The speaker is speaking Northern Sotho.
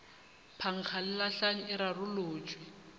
phankga le lahlang e rarolotšwe